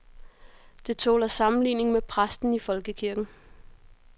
Det tåler sammenligning med præsten i folkekirken.